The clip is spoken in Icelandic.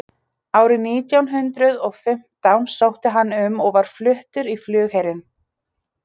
Líklegt er að orðið böllur merki hér kúla, hnöttur eins og var í fornu máli.